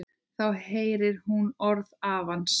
Þá heyrir hún orð afans.